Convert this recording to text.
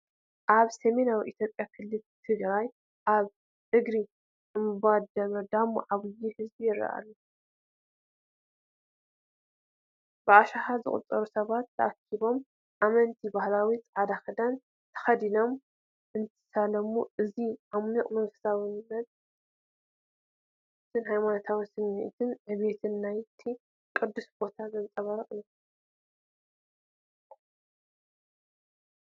ኣብ ሰሜን ኢትዮጵያ ክልል ትግራይ ኣብ እግሪ እምባ ደብረ ዳሞ ዓብዪ ህዝቢ ይረአ ኣሎ። ብኣሽሓት ዝቑጸሩ ሰባት ተኣኪቦም፡ ኣመንቲ ባህላዊ ጻዕዳ ክዳን ተኸዲኖም እንትሳለሙ፣ እዚ ዓሚቝ መንፈሳውነትን ሃይማኖታዊ ስምዒትን ዕቤትን ናይቲ ቅዱስ ቦታ ዘንጸባርቕ እዩ።